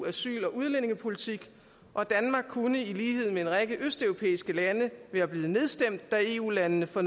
asyl og udlændingepolitik og danmark kunne i lighed med en række østeuropæiske lande være blevet nedstemt da eu landene for